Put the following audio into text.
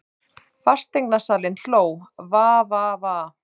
Fasteignasalinn hló:- Va Va Va.